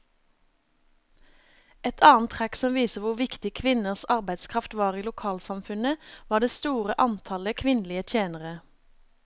Et annet trekk som viser hvor viktig kvinnenes arbeidskraft var i lokalsamfunnet, var det store antallet kvinnelige tjenere.